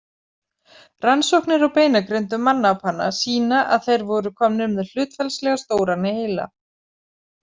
Rannsóknir á beinagrindum mannapanna sýna að þeir voru komnir með hlutfallslega stóran heila.